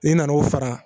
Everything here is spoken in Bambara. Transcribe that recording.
I nana o fara